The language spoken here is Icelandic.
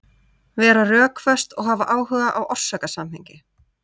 Vera rökföst og hafa áhuga á orsakasamhengi.